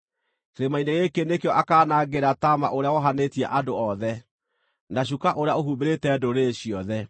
Kĩrĩma-inĩ gĩkĩ nĩkĩo akaanangĩra taama ũrĩa wohanĩtie andũ othe, na cuka ũrĩa ũhumbĩrĩte ndũrĩrĩ ciothe;